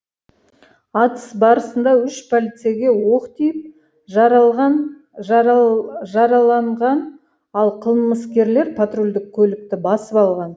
атыс барысында үш полицейге оқ тиіп жараланған ал қылмыскерлер патрульдік көлікті басып алған